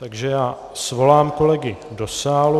Takže já svolám kolegy do sálu.